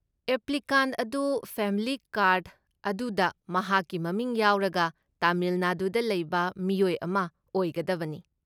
Applicant ꯑꯗꯨ family card ꯑꯗꯨꯗ ꯃꯍꯥꯛꯀꯤ ꯃꯃꯤꯡ ꯌꯥꯎꯔꯒ ꯇꯥꯃꯤꯜ ꯅꯥꯗꯨꯗ ꯂꯩꯕ ꯃꯤꯑꯣꯏ ꯑꯃ ꯑꯣꯏꯒꯗꯕꯅꯤ ꯫